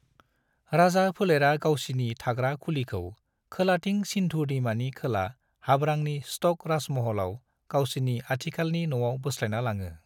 राजा फोलेरा गावसिनि थाग्रा खुलिखौ खोलाथिं सिन्धु दैमानि खोला हाब्रांनि स्टक राजमहलाव गावसिनि आथिखालनि नआव बोस्लायना लाङो।